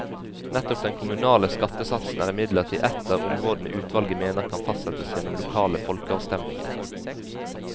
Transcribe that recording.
Nettopp den kommunale skattesatsen er imidlertid ett av områdene utvalget mener kan fastsettes gjennom lokale folkeavstemninger.